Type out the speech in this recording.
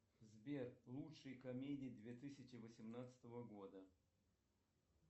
сбер лучшие комедии две тысячи восемнадцатого года